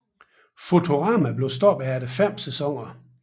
Futurama blev stoppet efter fem sæsoner